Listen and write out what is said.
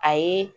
A ye